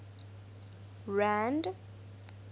rand